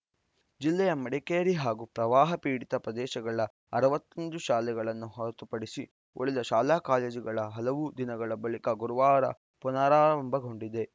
ಜಿಲ್ಲೆಯ ಮಡಿಕೇರಿ ಹಾಗೂ ಪ್ರವಾಹ ಪೀಡಿತ ಪ್ರದೇಶಗಳ ಅರವತ್ತ್ ಒಂದು ಶಾಲೆಗಳನ್ನು ಹೊರತುಪಡಿಸಿ ಉಳಿದ ಶಾಲಾಕಾಲೇಜುಗಳ ಹಲವು ದಿನಗಳ ಬಳಿಕ ಗುರುವಾರ ಪುನರಾರಂಭಗೊಂಡಿವೆ